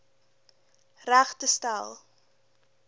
reg te stel